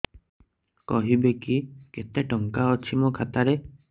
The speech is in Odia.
କହିବେକି କେତେ ଟଙ୍କା ଅଛି ମୋ ଖାତା ରେ